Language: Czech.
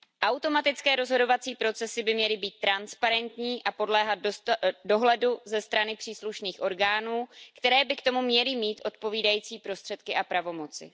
Automatické rozhodovací procesy by měly být transparentní a podléhat dohledu ze strany příslušných orgánů, které by k tomu měly mít odpovídající prostředky a pravomoci.